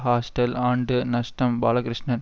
hostel ஆண்டு நஷ்டம் பாலகிருஷ்ணன்